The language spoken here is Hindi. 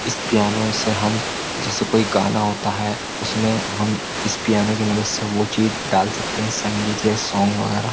इस पियानो से हम जैसे कोई गाना होता है उसमें हम इस पियाने की मदद से वो चीज डाल सकते हैं संगीत या सोंग वगैरा ।